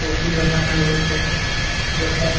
coffee দোকানের বসতে যথায়--